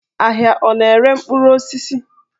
Ahịa ọ na-ere mkpụrụ osisi?